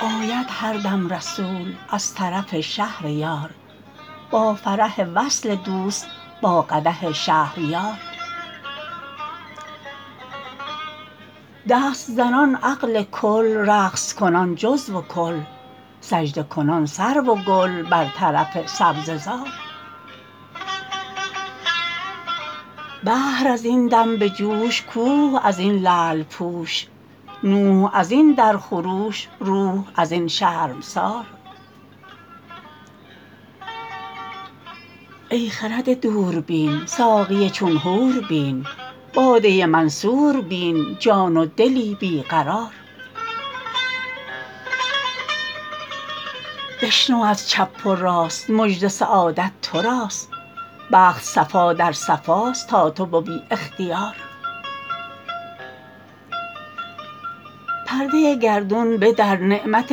آید هر دم رسول از طرف شهر یار با فرح وصل دوست با قدح شهریار دست زنان عقل کل رقص کنان جزو و کل سجده کنان سرو و گل بر طرف سبزه زار بحر از این دم به جوش کوه از این لعل پوش نوح از این در خروش روح از این شرمسار ای خرد دوربین ساقی چون حور بین باده منصور بین جان و دلی بی قرار بشنو از چپ و راست مژده سعادت تو راست بخت صفا در صفاست تا تو توی اختیار پرده گردون بدر نعمت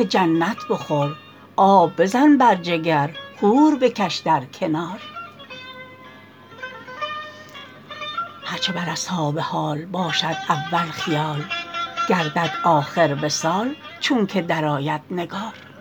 جنت بخور آب بزن بر جگر حور بکش در کنار هر چه بر اصحاب حال باشد اول خیال گردد آخر وصال چونک درآید نگار